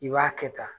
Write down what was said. I b'a kɛ tan